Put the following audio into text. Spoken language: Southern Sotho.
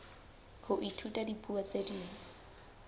ho ithuta dipuo tse ding